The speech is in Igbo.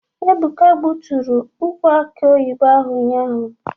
Ebụka gbutụrụ ukwụ akị oyibo ahụ ụnyaahụ.